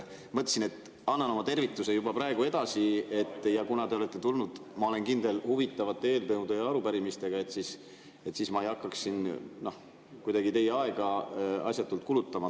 Mõtlesin, et annan oma tervituse juba praegu edasi, ja kuna te olete tulnud, ma olen kindel, huvitavate eelnõude ja arupärimistega, siis ma ei hakkaks siin teie aega asjatult kulutama.